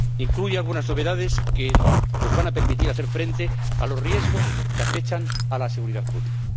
Incluye algunas novedades que nos van a permitir hacer frente a los riesgos que acechan a la seguridad pública.